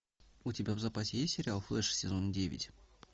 у тебя в запасе есть сериал флэш сезон девять